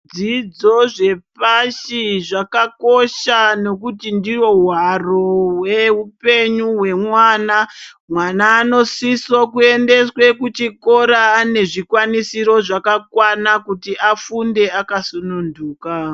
Dzidzo zvepashi zvakakosha nekuti ndihwo hwaro zveupenyu hwemwana mwana anosiso kuendeswe kuchikora ane zvikwanisiro zvakakwana kuti afunde akasununduka.